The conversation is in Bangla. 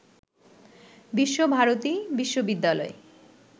বিশ্বভারতী বিশ্ববিদ্যালয়